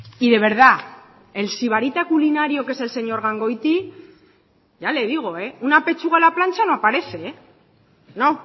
y de verdad el sibarita culinario que es el señor gangoiti ya le digo una pechuga a la plancha no aparece no